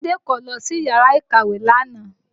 Ade kò lọ sí yàrá ìkàwé lánàá